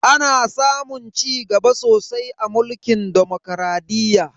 Ana samun cigaba sosai a mulkin demokradiyya.